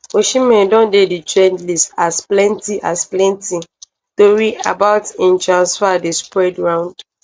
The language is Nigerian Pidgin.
osimhen don dey di trend list as plenti as plenti tori about im transfer dey spread round